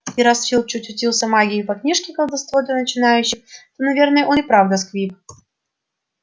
и раз филч чуть учился магии по книжке колдовство для начинающих то наверное он и правда сквиб